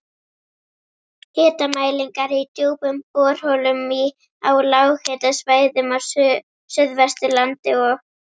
Hitamælingar í djúpum borholum á lághitasvæðum á Suðvesturlandi og